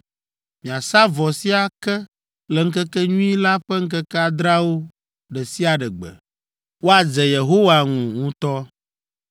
Miasa vɔ sia ke le Ŋkekenyui la ƒe ŋkeke adreawo ɖe sia ɖe gbe. Woadze Yehowa ŋu ŋutɔ.